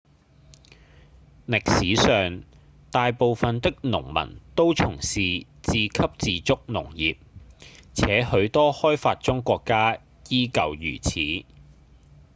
歷史上大部分的農民都從事自給自足農業且許多開發中國家依舊如此